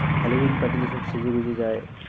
Halloween party তে সব সেজে গুজে যায়।